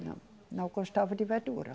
Não, não gostava de verdura.